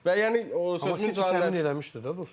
Və yəni sözüm City təmin eləmişdi də, dostlar.